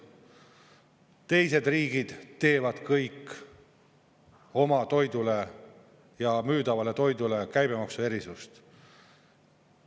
Teised riigid teevad kõik oma toidule ja müüdavale toidule käibemaksuerisust.